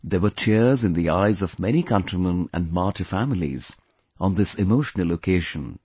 There were tears in the eyes of many countrymen and martyr families on this emotional occasion